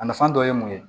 A nafan dɔ ye mun ye